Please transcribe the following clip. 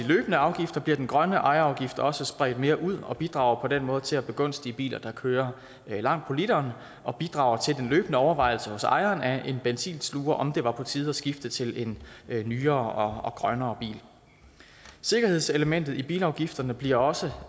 løbende afgifter bliver den grønne ejerafgift også spredt mere ud og bidrager på den måde til at begunstige biler der kører langt på literen og bidrager til den løbende overvejelse hos ejeren af en benzinsluger om det var på tide at skifte til en nyere og grønnere bil sikkerhedselementet i bilafgifterne bliver også